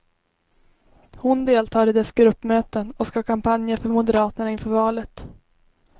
Hon deltar i dess gruppmöten och ska kampanja för moderaterna inför valet.